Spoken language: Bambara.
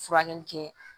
Furakɛli kɛ